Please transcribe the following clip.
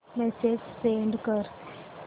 message send कर